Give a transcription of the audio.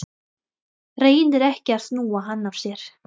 Reynir ekki að snúa hann af sér.